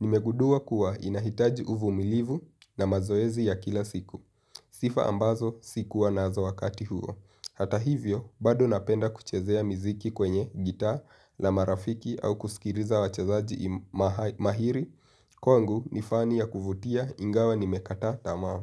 Nimegundua kuwa inahitaji uvumilivu na mazoezi ya kila siku. Sifa ambazo sikuwa nazo wakati huo. Hata hivyo, bado napenda kuchezea miziki kwenye gitaa la marafiki au kusikiriza wachezaji mahiri, kwangu ni fani ya kuvutia ingawa nimekata tamaa.